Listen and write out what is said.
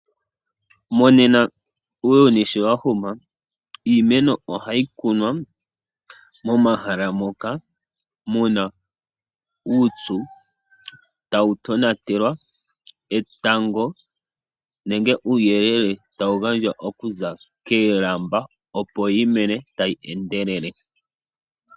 Monena uuyuni sho wahuma, iimeno ohayi kunwa momahala moka muna uupyu, tawutonatelwa netango nenge uuyelele tawu gandjwa okuza koolamba opo yimene tayi endelele.